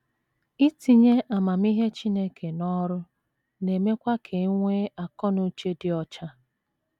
Itinye amamihe Chineke n’ọrụ na - emekwa ka e nwee akọ na uche dị ọcha.